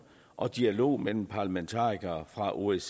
og dialog mellem parlametarikere fra osces